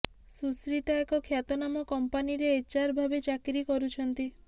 ସୁଶ୍ରୀତା ଏକ ଖ୍ୟାତନାମା କମ୍ପାନୀରେ ଏଚଆର ଭାବେ ଚାକିରି କରୁଛନ୍ତି